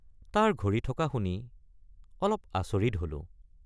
তাৰ ঘড়ী থকা শুনি অলপ আচৰিত হলোঁ।